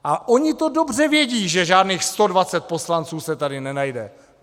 A oni to dobře vědí, že žádných 120 poslanců se tady nenajde.